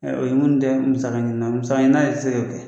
o ye minnu tɛ musaka ɲini na, musaka ɲinina ye se ke kɛ